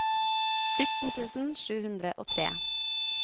sytten tusen sju hundre og tre